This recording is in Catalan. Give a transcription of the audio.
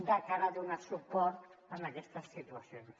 de cara a donar suport a aquestes situacions